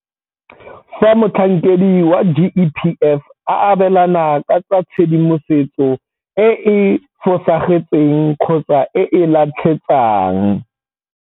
Fa motlhankedi wa GEPF a abelana ka tshedimosetso e e fosagetseng kgotsa e e latlhetsang.